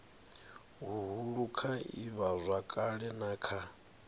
huhulu kha ivhazwakale na kha